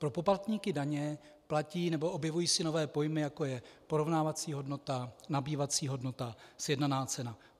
Pro poplatníky daně platí, nebo objevují se nové pojmy, jako je porovnávací hodnota, nabývací hodnota, sjednaná cena.